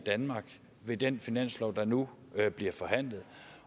med den finanslov der nu bliver forhandlet